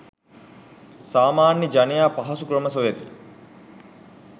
සාමාන්‍ය ජනයා පහසු ක්‍රම සොයති.